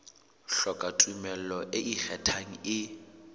hloka tumello e ikgethang e